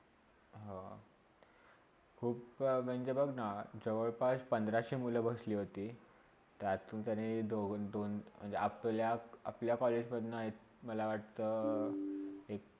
हा खुपचा म्हणजे बघना जवळ -पास पंधराशे मुले बसली होती. त्यातुन त्यांनी दोन दोन म्हणज आ पल्या आपल्या कॉलेजमधले मला वाटता एक